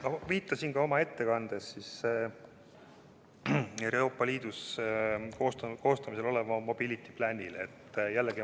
Ma viitasin ka oma ettekandes Euroopa Liidus koostamisel olevale "Mobility Planile".